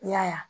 I y'a ye